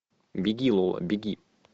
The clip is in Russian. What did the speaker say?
беги лола беги